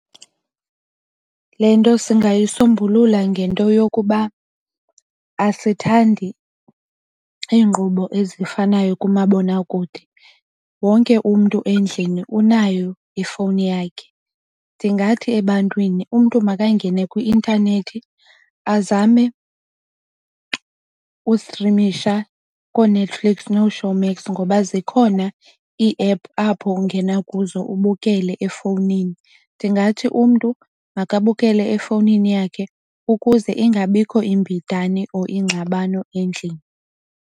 Le nto singayisombulula ngento yokuba asithandi iinkqubo ezifanayo kumabonakude. Wonke umntu endlini unayo ifowuni yakhe. Ndingathi ebantwini umntu makangene kwi-intanethi azame ustrimisha kooNetflix nooShowmax ngoba zikhona iiephu apho ungena kuzo ubukele efowunini. Ndingathi umntu makubukele efowunini yakhe ukuze ingabikho imbidane or ingxabano endlini.